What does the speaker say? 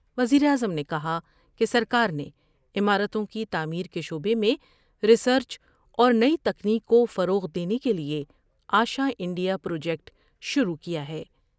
وزیر اعظم نے کہا کہ سرکار نے عمارتوں کی تعمیر کے شعبے میں ریسرچ اور نئی تکنیک کوفروغ دینے کے لئے آشا انڈیا پروجیکٹ شروع کیا ہے۔